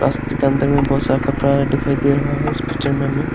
में बहोत सारा कपड़ा दिखाई दे रहा है इस पिक्चर में हमें।